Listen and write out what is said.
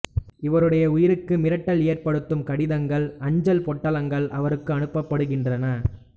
இவருடைய உயிருக்கு மிரட்டல் ஏற்படுத்தும் கடிதங்கள் அஞ்சல் பொட்டலங்கள் அவருக்கு அனுப்பப்படுகின்றன